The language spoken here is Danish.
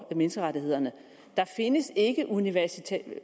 menneskerettighederne der findes ikke universelle